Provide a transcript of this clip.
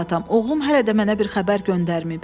Oğlum hələ də mənə bir xəbər göndərməyib.